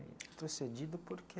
Retrocedido por quê?